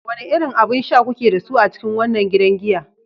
Wane irin abun sha kuke da su a cikin wannan gidan giya?